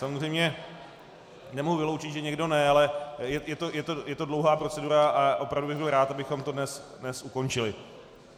Samozřejmě nemohu vyloučit, že někdo ne, ale je to dlouhá procedura a opravdu bych byl rád, abychom to dnes ukončili.